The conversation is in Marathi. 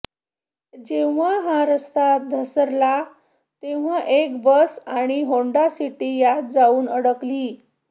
जेव्हा हा रस्ता धसला तेव्हा एक बस आणि होंडा सिटी त्यात जाऊन अडकली